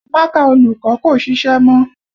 Mákà olùkọ́ kò ṣiṣẹ́ mọ́